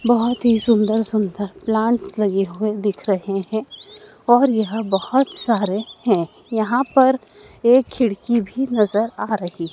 बहोत ही सुंदर-सुंदर प्लांट लगे हुए दिख रहे है और यहाँ बहोत सारे हैं। यहाँ पर एक खिड़की भी नजर आ रही--